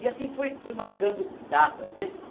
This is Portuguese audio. E assim fui fui marcando datas, né?